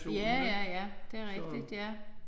Ja ja ja det rigtigt ja